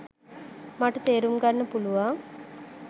මට තේරුම් ගන්න පුළුවන්